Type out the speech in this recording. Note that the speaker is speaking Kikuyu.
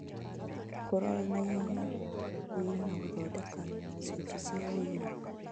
Kũrora na ihenya ũira na gũthondeka icunjĩ cia ũira,